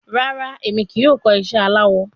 Rara, Emi kii yoo kọ iṣẹ alawọ